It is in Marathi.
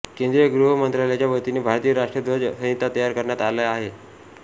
केंद्रीय गृह मंत्रालयाच्या वतीने भारतीय राष्ट्रध्वज संहिता तयार करण्यात आली आहे